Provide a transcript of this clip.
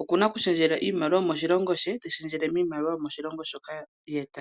oku na oku shendjela iimaliwa yomoshilongo she teyi shendjele miimaliwa yomoshilongo moka ye ta yi.